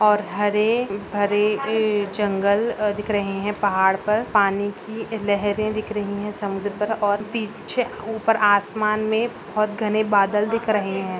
और हरे-भरे ए जंगल दिख रहे हैं पहाड़ पर पानी की लहरें दिख रही हैं समुद्र पर और पीछे ऊपर आसमान में बहोत घने बादल दिख रहे हैं।